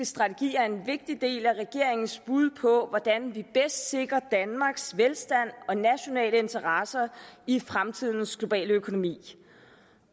strategi er en vigtig del af regeringens bud på hvordan vi bedst sikrer danmarks velstand og nationale interesser i fremtidens globale økonomi